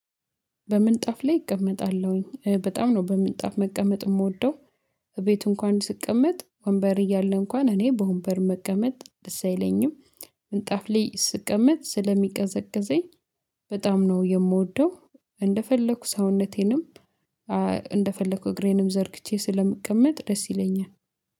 በምንጣፍ ላይ እቀመጣለሁኝ በጣም ነው በምንጣፍ መቀመጥ የምወደው እቤት እንኳን ስቀመጥ ወንበር እያለ እንኳን እኔ በወንበር መቀመጥ ደስ አይለኝም ምንጣፍ ላይ ስቀመጥ ስለሚቀዘቅዘኝ በጣም ነው የምወደው እንደፈለኩ ሰውነቴንም እንደፈለኩ እግሬንም ዘርግቼ ስለምቀመጥ ደስ ይለኛል።